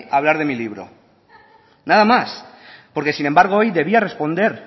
a hablar de mi libro nada más porque sin embargo hoy debía responder